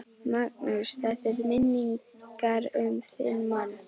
Magnús: Þetta er til minningar um þinn mann?